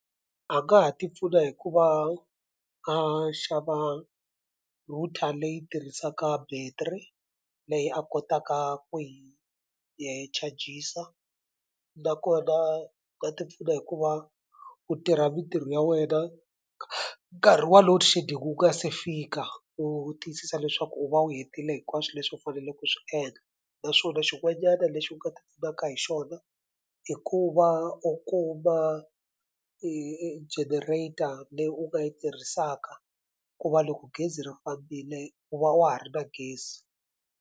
A nga ha ti pfuna hi ku va a xava router leyi tirhisaka battery leyi a kotaka ku yi ya yi chajisa nakona a tipfuna hikuva ku tirha mintirho ya wena nkarhi wa loadshedding wu nga se fika u tiyisisa leswaku u va u hetile hinkwaswo leswi u faneleke ku swi endla naswona xin'wanyana lexi u nga ti pfunaka hi xona i ku va u kuma generator leyi u nga yi tirhisaka ku va loko gezi ri fambile u va wa ha ri na gezi.